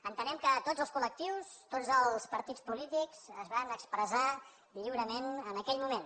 entenem que tots els col·lectius tots els partits polítics es van expressar lliurement en aquell moment